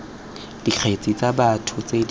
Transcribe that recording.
dikgetse tsa batho tse di